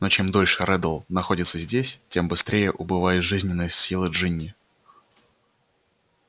но чем дольше реддл находится здесь тем быстрее убывают жизненные силы джинни